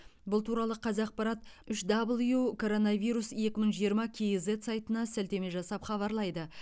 бұл туралы қазақпарат үш дабл ю короновирус екі мың жиырма кейзэт сайтына сілтеме жасап хабарлайды